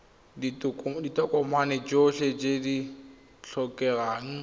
ditokomane tsotlhe tse di tlhokegang